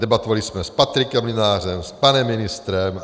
Debatovali jsme s Patrikem Mlynářem, s panem ministrem.